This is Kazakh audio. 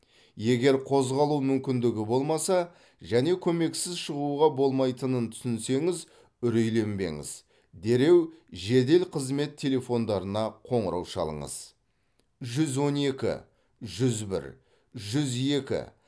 егер қозғалу мүмкіндігі болмаса және көмексіз шығуға болмайтынын түсінсеңіз үрейленбеңіз дереу жедел қызмет телефондарына қоңырау шалыңыз жүз он екі жүз бір жүз екі